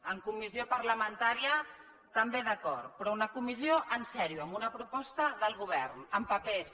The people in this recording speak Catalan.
en comissió parlamentària també d’acord però una comissió seriosament amb una proposta del govern amb papers